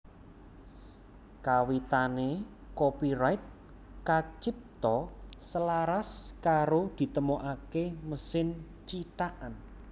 Kawitané copyright kacipta selaras karo ditemokaké mesin cithakan